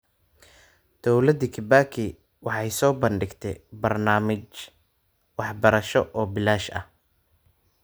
Dawladdii Kibaki waxay soo bandhigtay barnaamij waxbarasho oo bilaash ah.